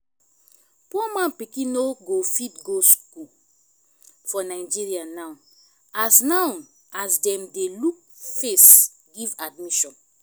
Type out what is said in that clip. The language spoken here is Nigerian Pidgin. poor man pikin no go fit go school for nigeria now as now as dem dey look face give admission